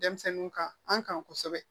Denmisɛnninw kan an kan kosɛbɛ